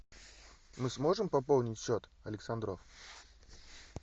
мы сможем пополнить счет александров